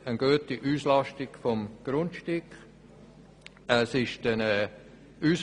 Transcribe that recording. Die Auslastung des Grundstücks ist sehr gut.